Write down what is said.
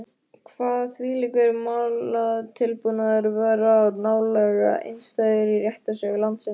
Kvað þvílíkur málatilbúnaður vera nálega einstæður í réttarsögu landsins.